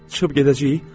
Çıxıb gedəcəyik?